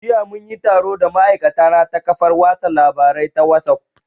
Jiya mun yi taro da ma'aikatana ta kafar watsa labarai ta wasuf